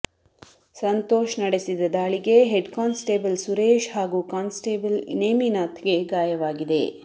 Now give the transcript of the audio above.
ಸಂತೋಷ್ ನಡೆಸಿದ ದಾಳಿಗೆ head constable Suresh ಹಾಗೂ ಕಾನ್ ಸ್ಟೇಬಲ್ ನೇಮಿನಾಥ್ ಗೆ ಗಾಯವಾಗಿದೆ